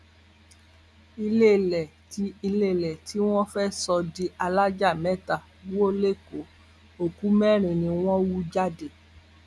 iléèlé tí iléèlé tí wọn fẹẹ sọ di alájà mẹta wò lẹkọọ òkú mẹrin ni wọn hú jáde